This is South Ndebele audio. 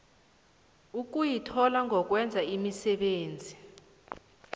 ukuyithola ngokwenza imisebenzi